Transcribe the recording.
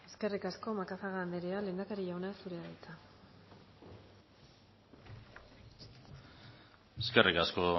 eskerrik asko macazaga anderea lehendakari jauna zurea da hitza eskerrik asko